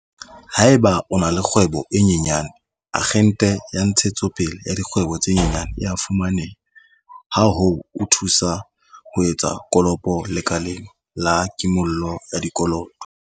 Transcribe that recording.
Haeba o na le kgwebo e nyenyane, Akgente ya Ntshetsopele ya Dikgwebo tse Nyenyane e a fumane-ha ho o thusa ho etsa kopo lekaleng la kimollo ya dikoloto.